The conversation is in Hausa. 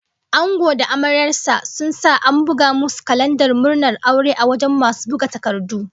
Angon da amaryar sa sun sa an bugo musu kalandar murnar aure a wajen masu buga takardu